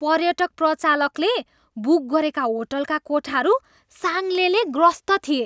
पर्यटक प्रचालकले बुक गरेका होटलका कोठाहरू साङ्लेले ग्रस्त थिए।